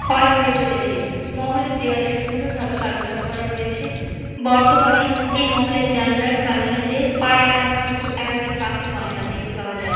ক্ষয় হয়ে চলেছে মহলের দেওয়ালে সুন্দরভাবে কারু কাজ করা রয়েছে। বর্তমানে এই মহলের জানালার কারনিসে পায়রা ঘুঘু একাধিক পাখির বাসা দেখতে পাওয়া যায়।